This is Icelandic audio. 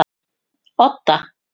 Odda